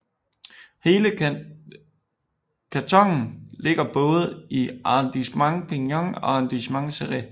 Hele kantonen ligger både i Arrondissement Perpignan og Arrondissement Céret